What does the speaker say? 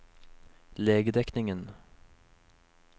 legedekningen